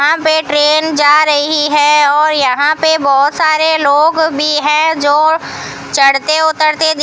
यहां पे ट्रेन जा रही है और यहां पे बहोत सारे लोग भी हैं जो चढ़ते उतरते दिख --